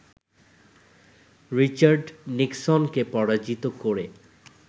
Richard নিক্সনকে পরাজিত করে